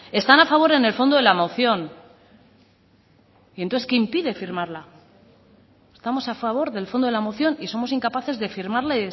están a favor en el fondo de la moción y entonces qué impide firmarla estamos a favor del fondo de la moción y somos incapaces de firmarla